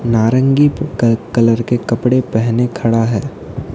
नारंगी का कलर के कपड़े पहने खड़ा है।